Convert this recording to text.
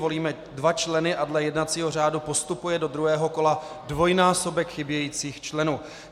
Volíme dva členy a dle jednacího řádu postupuje do druhého kola dvojnásobek chybějících členů.